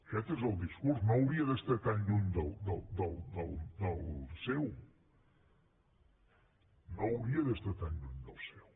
aquest és el discurs no hauria d’estar tan lluny del seu no hauria d’estar tan lluny del seu